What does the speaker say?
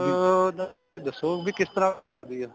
ਅਹ ਦੱਸੋ ਵੀ ਕਿਸ ਤਰ੍ਹਾਂ ਹੁੰਦੀ ਐ